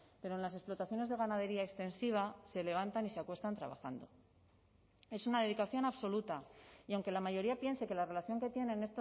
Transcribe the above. pero en las explotaciones de ganadería extensiva se levantan y se acuestan trabajando es una dedicación absoluta y aunque la mayoría piense que la relación que tienen